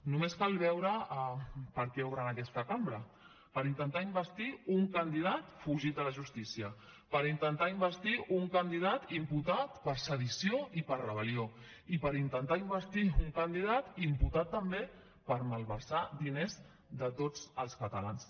només cal veure per què obren aquesta cambra per intentar investir un candidat fugit de la justícia per intentar investir un candidat imputat per sedició i per rebel·lió i per intentar investir un candidat imputat també per malversar diners de tots els catalans